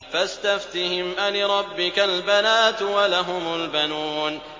فَاسْتَفْتِهِمْ أَلِرَبِّكَ الْبَنَاتُ وَلَهُمُ الْبَنُونَ